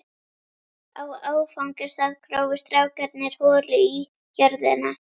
Á áfangastað grófu strákarnir holu í jörðina.